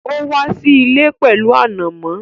Ó wá sí ilé pẹ̀lú ànàmọ́